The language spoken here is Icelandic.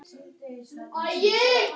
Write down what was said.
Af hverju ertu ekki heima hjá þér?